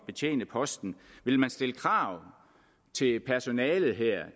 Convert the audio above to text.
betjene posten vil man stille krav til personalet